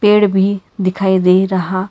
पेड़ भी दिखाई दे रहा--